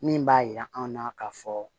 Min b'a yira an na k'a fɔ